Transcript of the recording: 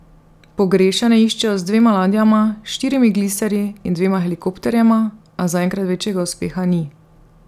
Pogrešane iščejo z dvema ladjama, štirimi gliserji in dvema helikopterjema, a zaenkrat večjega uspeha ni.